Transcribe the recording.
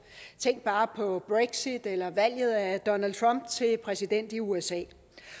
tænk bare på brexit eller valget af donald trump til præsident i usa